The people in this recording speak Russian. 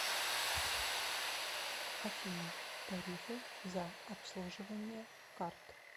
афина тарифы за обслуживание карт